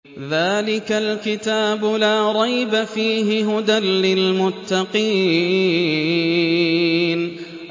ذَٰلِكَ الْكِتَابُ لَا رَيْبَ ۛ فِيهِ ۛ هُدًى لِّلْمُتَّقِينَ